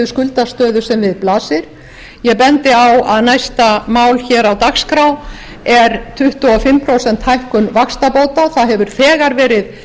skuldastöðu sem við blasir ég bendi á að næsta mál á dagskrá er tuttugu og fimm prósenta hækkun vaxtabóta það hefur þegar verið